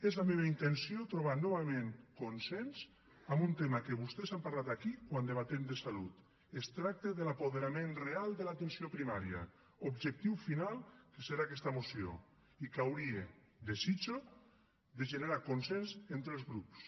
és la meva intenció trobar novament consens en un tema que vostès han parlat aquí quan debatem de salut es tracta de l’apoderament real de l’atenció primària objectiu final que serà aquesta moció i que hauria ho desitjo de generar consens entre els grups